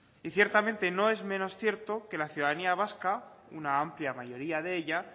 y ciertamente no es menos cierto que la ciudadanía vasca una amplia mayoría de ella